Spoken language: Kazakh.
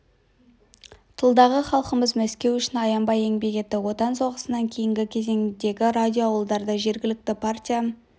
тылдағы халқымыз мәскеу үшін аянбай еңбек етті отан соғысынан кейінгі кезеңдегі радио ауылдарда жергілікті партия